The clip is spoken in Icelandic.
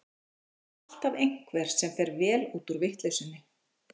Það er alltaf einhver sem fer vel út úr vitleysunni.